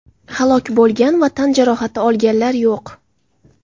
Halok bo‘lgan va tan jarohati olganlar yo‘q.